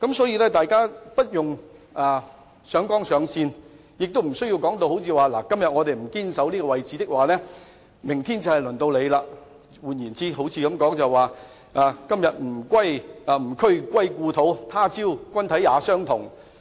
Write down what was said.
因此，大家無須上綱上線，亦無須說甚麼"如果今天不堅守這位置，明天就會輪到你"，彷彿是在說"今夕吾軀歸故土，他朝君體也相同"。